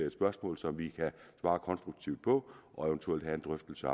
et spørgsmål som vi kan svare konstruktivt på og eventuelt have en drøftelse